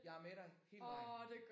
Jeg er med dig hele vejen